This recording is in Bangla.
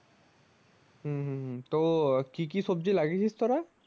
হম হম হম তো কি কি সবজি লাগিয়েছিস তোরা?